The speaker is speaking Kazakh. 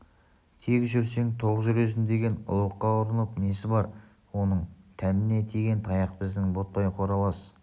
тек жүрсең тоқ жүресің деген ұлыққа ұрынып несі бар оның тәніне тиген таяқ біздің ботбай қоралас